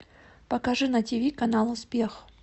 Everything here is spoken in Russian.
покажи на тиви канал успех